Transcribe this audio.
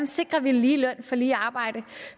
sikrer lige løn for lige arbejde